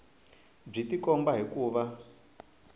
byi tikomba hi ku va